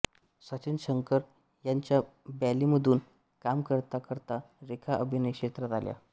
सचिन शंकर यांच्या बॅलेमधून काम करता करता रेखा अभिनय क्षेत्रात आल्या